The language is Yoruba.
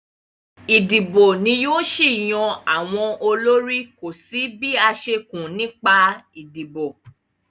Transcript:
Ìdìbò ni yóò ṣì yan àwọn olórí, kò sí bí a ṣe kùn nípa ìdìbò